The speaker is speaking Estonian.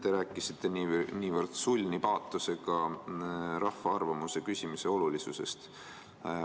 Te rääkisite niivõrd sulni paatosega rahva arvamuse küsimise olulisusest.